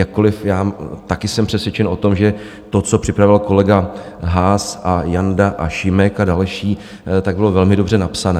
Jakkoliv já taky jsem přesvědčen o tom, že to, co připravil kolega Haas a Janda a Šimek a další, tak bylo velmi dobře napsané.